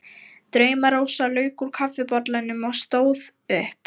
Drauma-Rósa lauk úr kaffibollanum og stóð upp.